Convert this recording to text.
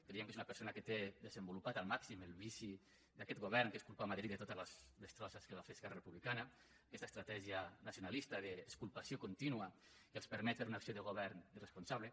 creiem que és una persona que té desenvolupat al màxim el vici d’aquest govern que és culpar madrid de totes les destrosses que va fer esquerra republicana aquesta estratègia nacionalista d’exculpació contínua que els permet fer una acció de govern irresponsable